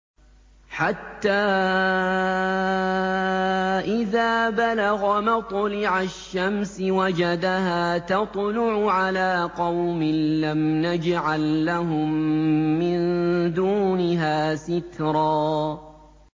حَتَّىٰ إِذَا بَلَغَ مَطْلِعَ الشَّمْسِ وَجَدَهَا تَطْلُعُ عَلَىٰ قَوْمٍ لَّمْ نَجْعَل لَّهُم مِّن دُونِهَا سِتْرًا